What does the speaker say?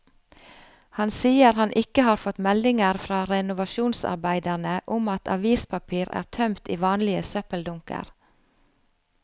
Han sier han ikke har fått meldinger fra renovasjonsarbeiderne om at avispapir er tømt i vanlige søppeldunker.